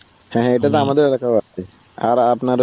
হ্যা এটা তো আমাদের এলাকায় ও আছে.